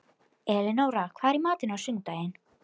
Elinóra, hvað er í matinn á sunnudaginn?